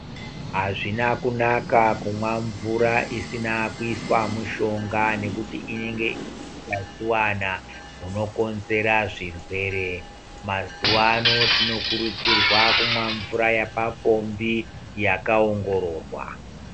Azvina kunaka kumwa mvura isina kuiswa mushonga nekuti inenge ine utachiwana hunokonzera zvirwere. Mazuva ano tinokurudzirwa kumwa mvura yepapombi yakaongororwa .